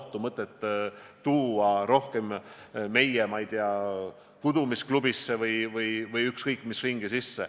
Pole mõtet tuua seda ohtu meie, ma ei tea, kudumisklubisse või ükskõik mis ringi.